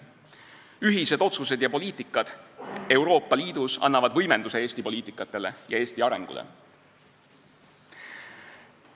Ühised otsused ja poliitikad Euroopa Liidus annavad võimenduse Eesti poliitikatele ja Eesti arengule.